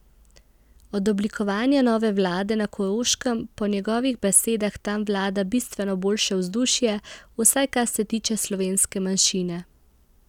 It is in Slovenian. Od oblikovanja nove vlade na Koroškem po njegovih besedah tam vlada bistveno boljše vzdušje, vsaj kar se tiče slovenske manjšine.